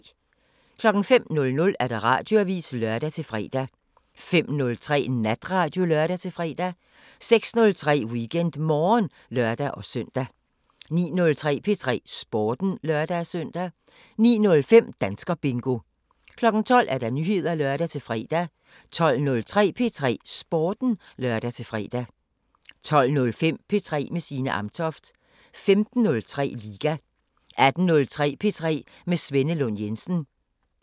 05:00: Radioavisen (lør-fre) 05:03: Natradio (lør-fre) 06:03: WeekendMorgen (lør-søn) 09:03: P3 Sporten (lør-søn) 09:05: Danskerbingo 12:00: Nyheder (lør-fre) 12:03: P3 Sporten (lør-fre) 12:05: P3 med Signe Amtoft 15:03: Liga 18:03: P3 med Svenne Lund Jensen